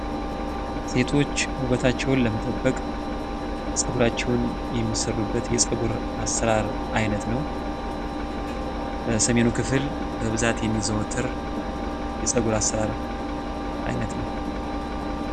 ሴቶች ውበታቸውን ለመጠበቅ ጸጉራቸውን የሚሰሩበት የጸጉር አሰራር አይነት ነው። በሰሜኑ ክፍል በብዛት የሚዘወተር የጸጉር አሰራር አይነት ነው።